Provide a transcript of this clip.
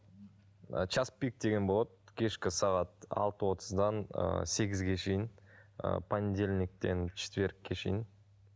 ы час пик деген болады кешкі сағат алты отыздан ыыы сегізге шейін ыыы понедельниктен четвергке шейін